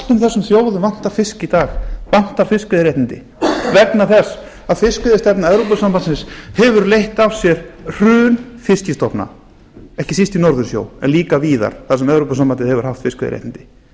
öllum þessum þjóðum vantar fisk í dag vantar fiskveiðiréttindi vegna þess að fiskveiðistefna evrópusambandsins hefur leitt af sér hrun fiskstofna ekki síst í norðursjó en líka víðar þar sem evrópusambandið hefur haft fiskveiðiréttindi